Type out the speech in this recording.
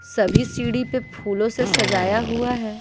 सभी सीढ़ी पे फूलों से सजाया हुआ है।